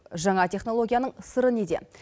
жаңа технологияның сыры неде